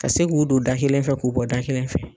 Ka se k'u don da kelen fɛ k'u bɔ da kelen fɛ.